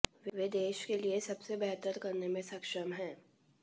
वे देश के लिए सबसे बेहतर करने में सक्षम हैं